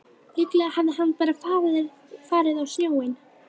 Líklega hafði hann bara farið á sjóinn.